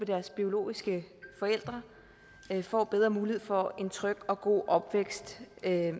deres biologiske forældre får bedre mulighed for en tryg og god opvækst